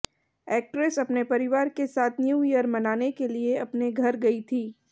actress अपने परिवार के साथ न्यू ईयर मनाने के लिए अपने घर गईं थीं